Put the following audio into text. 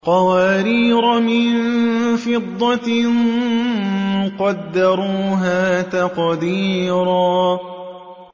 قَوَارِيرَ مِن فِضَّةٍ قَدَّرُوهَا تَقْدِيرًا